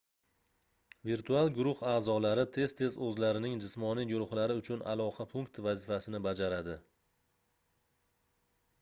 virtual guruh aʼzolari tez-tez oʻzlarining jismoniy guruhlari uchun aloqa punkti vazifasini bajaradi